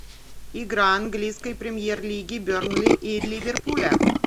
игра английской премьер лиги бернли и ливерпуля